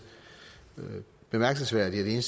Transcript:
bemærkelsesværdigt at